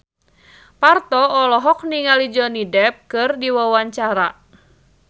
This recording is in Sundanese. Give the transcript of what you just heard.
Parto olohok ningali Johnny Depp keur diwawancara